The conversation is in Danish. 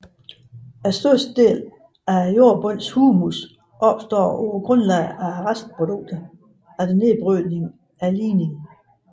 Størstedelen af jordbundens humus opstår på grundlag af restprodukter efter nedbrydningen af lignin